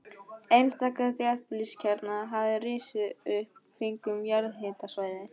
Einstaka þéttbýliskjarnar hafa risið upp kringum jarðhitasvæði.